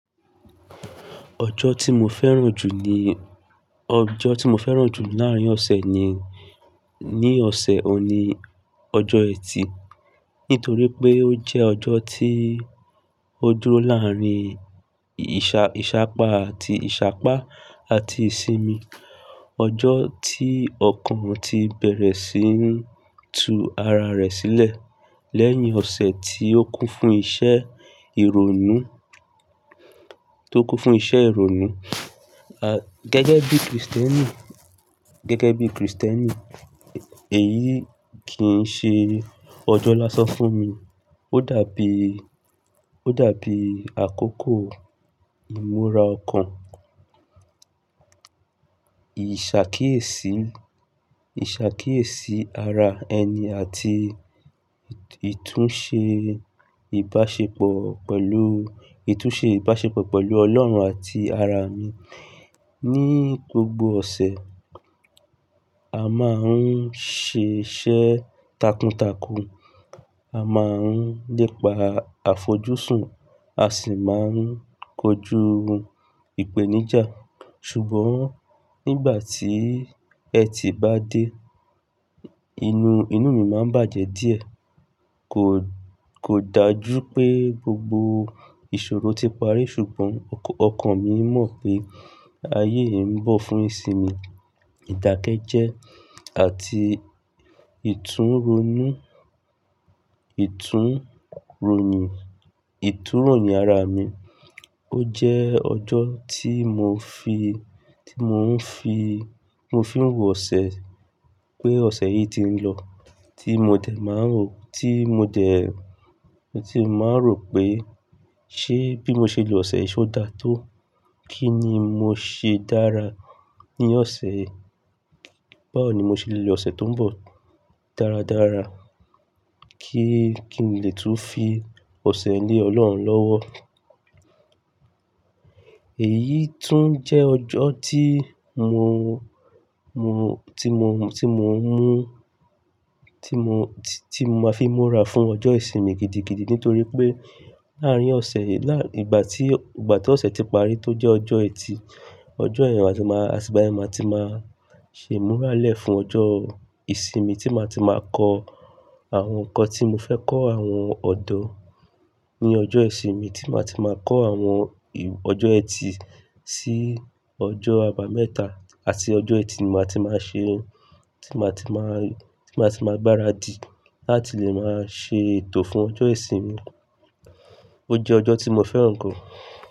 Ọjọ́ tí mo fẹ́ràn jù ni, ọjọ́ tí mo fẹ́ràn jù láàárín ọ̀sẹ̀ ni, ní ọ̀sẹ̀ òní, ọjọ́ ẹtì. Nítorí pé ó jẹ́ ọjọ́ tí ó dúró láàárín ìṣà-ìṣàpá àti ìṣàpá àti ìsinmi. Ọjọ́ tí ọkàn ti bẹ̀rẹ̀ sí í tu ara rẹ̀ sílẹ̀ lẹ́yìn ọ̀sẹ̀ tí ó kún fún iṣẹ́ ìrònú, tó kún fún iṣẹ́ ìrònú. A, gẹ́gẹ́ bí Kristẹni, gẹ́gẹ́ bí Kristẹni, èyí kì í ṣe ọjọ́ lásán fún mi. Ó dàbí, ó dàbí àkókò ìmúra ọkàn, ìṣàkíyèsí, ìṣàkíyèsí ara ẹni àti ìtúnṣe ìbáṣepọ̀ pẹ̀lú, ìtúnṣe ìbáṣepọ̀ pẹ̀lú Ọlọ́run àti ara mi. Ni gbogbo ọ̀sẹ̀, a máa ń ṣe iṣẹ́ takuntakun. A máa ń lépa àfojúsùn, a sì máa ń kojú ìpèníjà. Ṣùgbọ́n nígbà tí ẹtì bá dé, inú, inú mi máa ń bàjẹ́ díẹ̀. Kò, kò dájú pé gbogbo ìṣòro ti parí ṣùgbọ́n ọkàn mi mọ̀ pé ayé ń bọ̀ fún ìsinmi, ìdákẹ́jẹ́ àti ìtúrónu, ìtúrónu, ìtúróyìn ara mi. Ó jẹ́ ọjọ́ tí mò ń fi, tí mò ń fi, mo fi ń ro ọ̀sẹ̀, pé ọ̀sẹ̀ yìí ti ń lọ, tí mo dẹ̀ máa ń rò, tí mo dẹ̀, tí mo máa ń rò pé ṣé bí mo ṣe le lọ ọ̀sẹ̀ yìí ó dáa tó. Kí ni mo ṣe dára ní ọ̀sẹ̀ yìí? Báwo ni mo ṣe le lo ọ̀sẹ̀ tó ń bọ̀ dáradára kí n lè tún fi ọ̀sẹ̀ lé Ọlọ́run lọ́wọ́? Èyí tún jẹ́ ọjọ́ tí mo, mo, tí mo, tí mo ń mú, tí mo, tí mo máa fi múra fún ọjọ́ ìsinmi gidigidi nítorí pé láàárín ọ̀sẹ̀, ìgbà tí, ìgbà tí ọ̀sẹ̀ ti parí tó jẹ́ ọjọ́ ẹtì, ọjọ́ ẹ̀ẹ̀rín, a sì máa, àti ìgbà yẹn màá ti máa ṣe múra lẹ́ẹ̀ fún ọjọ́ ìsinmi tí màá ti máa kọ àwọn nǹkan tí mo fẹ́ kọ́, àwọn ọ̀dọ́ ní ọjọ́ ìsinmi tí màá ti máa kọ́ àwọn ìw-- ọjọ́ ẹtì sí ọjọ́ àbámẹ́ta àti ọjọ́ ẹtì ni màá ti máa ṣe ohun tí màá ti máa, tí màá ti máa gbáradì láti lè máa ṣe ètò fún ọjọ́ ìsinmi. Ó jẹ́ ọjọ́ tí mo fẹ́ràn gan.